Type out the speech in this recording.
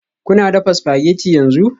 Kuna dafa spaghetti yanzu?